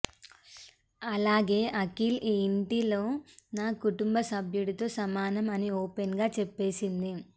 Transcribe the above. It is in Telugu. అలాగే అఖిల్ ఈ ఇంటిలో నా కుటుంబ సభ్యుడితో సమానం అని ఓపెన్ గా చెప్పేసింది